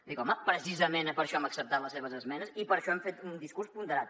dic home precisament per això hem acceptat les seves esmenes i per això hem fet un discurs ponderat